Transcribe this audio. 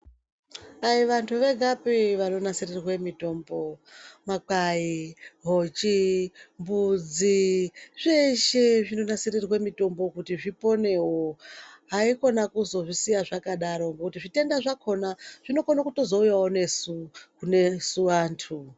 Ayii vanthu vegapii vanonasirirwa mitombo, makwayi, hochi, mbudzi zveshe zvinonasirirwe mitombo kuti zviponewo hayikona kuzozvisiya zvakadaro koo ngokuti zvitenda zvakhona zvinokona kuzouyawo nesu, kunesu anthu.